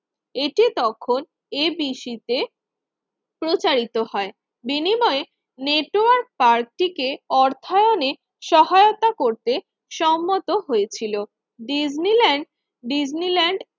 এটি তখন ABC তে প্রচারিত হয় বিনিময়ে নেটওয়ার্ক পার্কটিকে অর্থায়নে সহায়তা করতে সম্মত হয়েছিল। Disneyland Disneyland